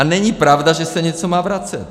A není pravda, že se něco má vracet!